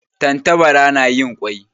Tantabara na yin kwai